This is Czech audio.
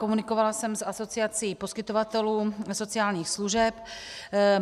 Komunikovala jsem s Asociací poskytovatelů sociálních služeb.